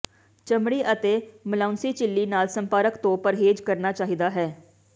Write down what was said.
ਚਮੜੀ ਅਤੇ ਮਲਊਂਸੀ ਝਿੱਲੀ ਨਾਲ ਸੰਪਰਕ ਤੋਂ ਪਰਹੇਜ਼ ਕਰਨਾ ਚਾਹੀਦਾ ਹੈ